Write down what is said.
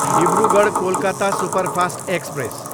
Dibrugarh, Kolkata superfast express